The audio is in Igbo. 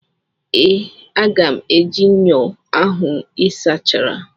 Ee, aga m eji ṅyọ ahụ ị sachara.